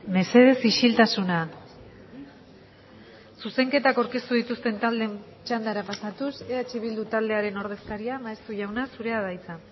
mesedez isiltasuna zuzenketak aurkeztu dituzten taldeen txandara pasatuz eh bildu taldearen ordezkaria maeztu jauna zurea da hitza